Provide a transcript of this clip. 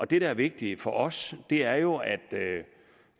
det der er vigtigt for os er jo